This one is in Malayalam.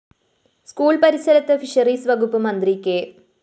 സ്കൂൾ പരിസരത്ത് ഫിഷറീസ്‌ വകുപ്പ് മന്ത്രി കെ